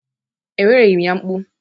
Ewereghị m ya mkpu.